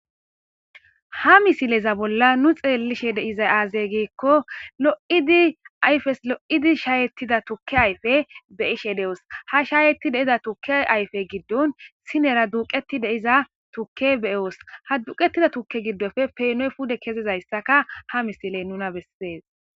ha misileza bolla nu xeellishe de'izay aaze giikko lo'ida ayfeso lo'idi shaayettida tukke ayfe be'ishe de'os ha shaayeti deiza tukke ayfe giddon sinera duuqeti de'iza tukke beoos ha duqetida tukke giddofe penoy pude kezizayssaka ha misiley nuna bessees